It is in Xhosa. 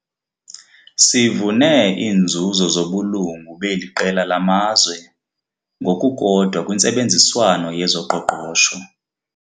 Sivune iinzuzo zobulungu beli qela lamazwe, ngokukodwa kwintsebenziswano yezoqoqosho.